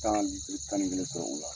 Tan hali litiri tan ni kelen bɛ sɔrɔ u la.